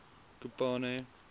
kopane